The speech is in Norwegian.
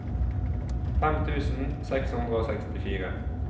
fem tusen seks hundre og sekstifire